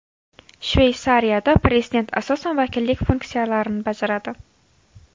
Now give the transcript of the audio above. Shveysariyada prezident asosan vakillik funksiyalarini bajaradi.